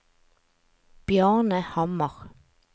Bjarne Hammer